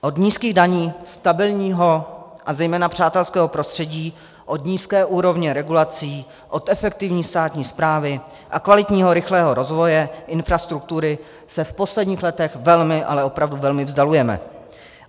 Od nízkých daní stabilního a zejména přátelského prostředí, od nízké úrovně regulací, od efektivní státní správy a kvalitního rychlého rozvoje infrastruktury se v posledních letech velmi, ale opravdu velmi vzdalujeme.